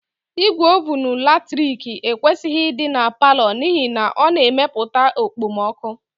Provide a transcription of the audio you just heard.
Igwe ovunu latrik ekwesịghị ịdị na palọ n'ihi na ọ na-emepụta okpomọkụ